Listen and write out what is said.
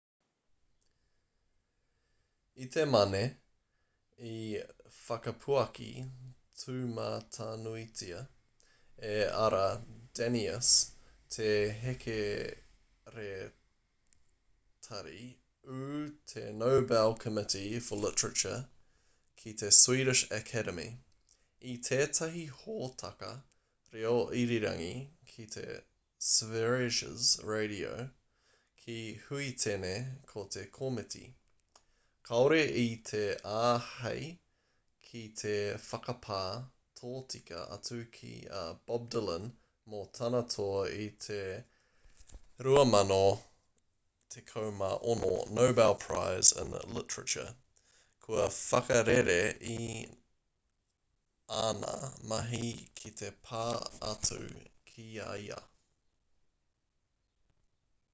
i te mane i whakapuaki tūmatanuitia e ara danius te hekeretari ū o te nobel committee for literature ki te swedish academy i tētahi hōtaka reo irirangi ki sveriges radio ki huitene ko te komiti kāore i te āhei ki te whakapā tōtika atu ki a bob dylan mō tāna toa i te 2016 nobel prize in literature kua whakarere i āna mahi ki te pā atu ki a ia